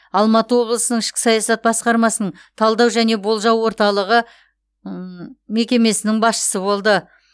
алматы облысының ішкі саясат басқармасының талдау және болжау орталығы мекемесінің басшысы болды